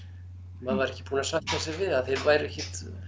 maður var ekki búinn að sætta sig við að þeir væru ekki